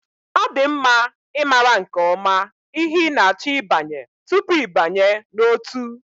Ọ dị mma ịmara nke ọma ihe ị na-achọ ịbanye tupu ịbanye n'ótú